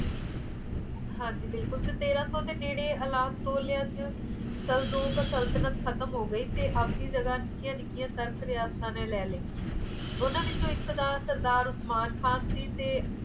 ਹਾਂਜੀ ਬਿਲੁੱਕ ਤੇਰਾਂ ਦੇ ਨੇੜੇ ਅਲਾਪ ਤੋਲਿਆ ਚ ਸੁਲਤਾਨ ਖ਼ਤਮ ਹੋ ਗਈ ਅੱਜ ਦੀ ਨਿੱਕਿਆ ਨਿੱਕਿਆ ਤਾਰਕਰਸਾ ਚ ਲੈ ਲਈ ਉਨ੍ਹਾਂ ਵਿੱਚੋ ਇੱਕ ਦਾ ਸਰਦਾਰ ਮਾਨ ਖਾਨ ਸੀ